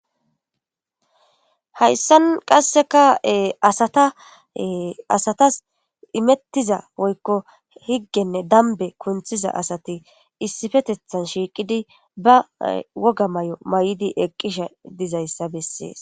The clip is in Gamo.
Hayisan qasika astas imetida woyiko higenne dambe kuntiza asati issippetetani shiqidi ba woga mayo mayidi eqidi dizayisa beses